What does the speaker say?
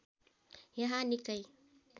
यहाँ निकै